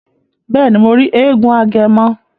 Bẹẹni, Mo ri èègún Agẹmọ